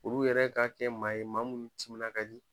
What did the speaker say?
Olu yɛrɛ ka kɛ maa ye maa mun timinan ka di